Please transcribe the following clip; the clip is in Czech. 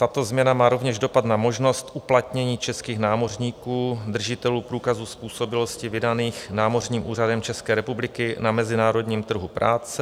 Tato změna má rovněž dopad na možnost uplatnění českých námořníků, držitelů průkazů způsobilosti vydaných Námořním úřadem České republiky, na mezinárodním trhu práce.